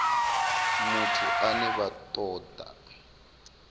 muthu ane vha ṱo ḓa